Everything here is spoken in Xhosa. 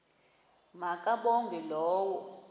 ma kabongwe low